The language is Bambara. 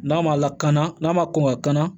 N'a ma lakana n'a ma kɔn ka na